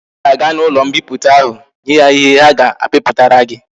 I ga aga na ulo mkpiputa ahu nye ha ihe ha ga akpiputara ya!